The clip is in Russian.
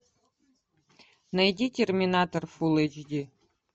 найди терминатор фулл эйч ди